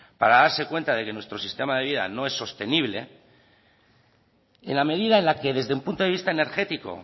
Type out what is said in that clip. para darse cuenta de que nuestro sistema de vida no es sostenible en la medida en la que desde un punto de vista energético